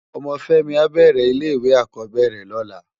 Òmò Femi á bèrè ile iwé ákòbèrè lòlá